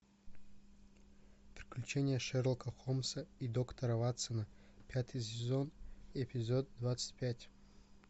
приключения шерлока холмса и доктора ватсона пятый сезон эпизод двадцать пять